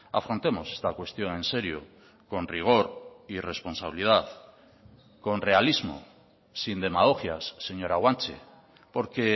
afrontemos esta cuestión en serio con rigor y responsabilidad con realismo sin demagogias señora guanche porque